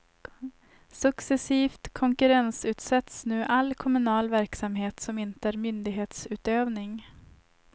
Successivt konkurrensutsätts nu all kommunal verksamhet som inte är myndighetsutövning.